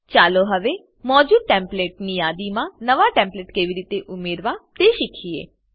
ચાલો હવે મોજુદ ટેમ્પલેટની યાદીમાં નવા ટેમ્પલેટ કેવી રીતે ઉમેરવા તે શીખીએ